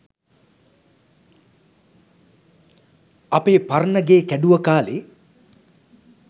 අපේ පරණ ගේ කැඩුව කාලේ